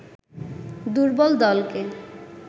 দূর্বল দলকে